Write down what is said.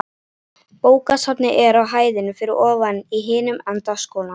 Bókasafnið er á hæðinni fyrir ofan í hinum enda skólans.